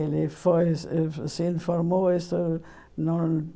Ele foi uh se informou. Isso não